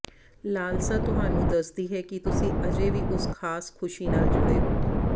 ਲਾਲਸਾ ਤੁਹਾਨੂੰ ਦੱਸਦੀ ਹੈ ਕਿ ਤੁਸੀਂ ਅਜੇ ਵੀ ਉਸ ਖਾਸ ਖੁਸ਼ੀ ਨਾਲ ਜੁੜੇ ਹੋ